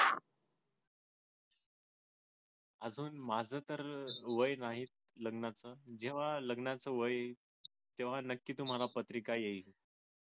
अजून माझं तर वय नाही लग्नाचं जेव्हा लग्नाचं वय येईल तेव्हा नक्की तुम्हाला पत्रिका येईल